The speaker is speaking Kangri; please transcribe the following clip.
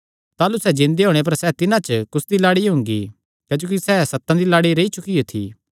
ताह़लू सैह़ जिन्दे होणे पर सैह़ तिन्हां च कुसदी लाड़ी हुंगी क्जोकि सैह़ सतां दी लाड़ी रेई चुकियो थी